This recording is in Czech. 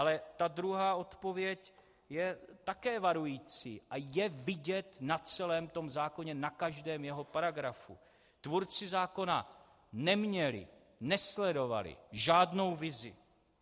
Ale ta druhá odpověď je také varující a je vidět na celém tom zákoně, na každém jeho paragrafu - tvůrci zákona neměli, nesledovali žádnou vizi.